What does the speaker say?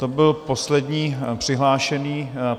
To byl poslední přihlášený...